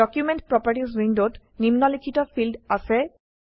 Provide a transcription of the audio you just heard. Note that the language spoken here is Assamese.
ডকুমেণ্ট প্ৰপাৰ্টিজ উইন্ডোত নিম্নলিখিত ফীল্ড আছে